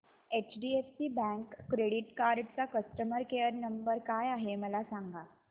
HDFC bank credit card चा customer care number काय आहे मला सांगा